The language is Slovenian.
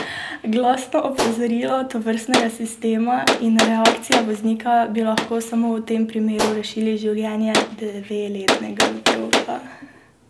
Glasno opozorilo tovrstnega sistema in reakcija voznika bi lahko samo v tem primeru rešili življenje dveletnega otroka.